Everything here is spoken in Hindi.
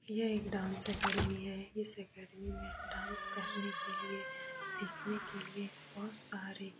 यह एक डांस एकेडेमी है। इस एकेडेमी में डांस करने के लिए सीखने के लिए बहुत सारे --